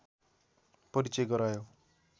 परिचय गरायो